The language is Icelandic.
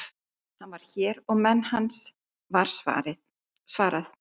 Hann er hér og menn hans, var svarað.